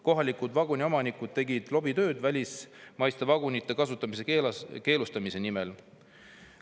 Kohalikud vaguniomanikud tegid lobitööd välismaiste vagunite kasutamise keelamise keelustamise nimel.